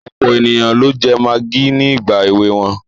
Ọ̀pọ̀ ènìyàn ló jẹ magí ní ìgbà èwe wọn.